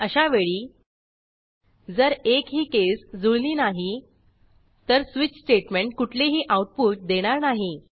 अशावेळी जर एकही केस जुळली नाही तर स्वीच स्टेटमेंट कुठलेही आऊटपुट देणार नाही